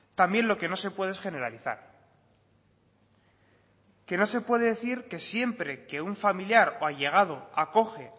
también lo que no se puede es generalizar que no se puede decir que siempre que un familiar o allegado acoge